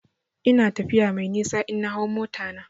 Ina tafiya mai nisa in na hau mota na.